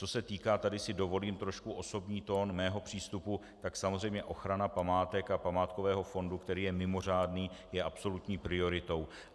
Co se týká - tady si dovolím trošku osobní tón - mého přístupu, tak samozřejmě ochrana památek a památkového fondu, který je mimořádný, je absolutní prioritou.